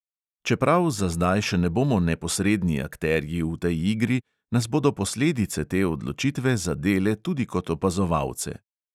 Čeprav za zdaj še ne bomo neposredni akterji v tej igri, nas bodo posledice te odločitve zadele tudi kot opazovalce.